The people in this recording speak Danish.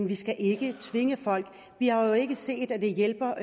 vi skal ikke tvinge folk vi har ikke set at det hjælper